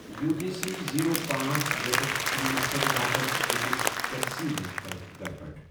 U T C zero پانژھ، یٚتیٚتھ اَمہِ مقصدٕ باپتھ أکِس ٹیکسی منٛز کٔرٕکھ گڑبڑ